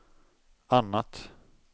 annat